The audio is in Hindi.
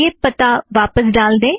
आइए पता वापस ड़ाल दें